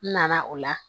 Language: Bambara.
N nana o la